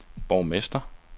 borgmester